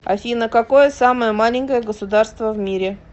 афина какое самое маленькое государство в мире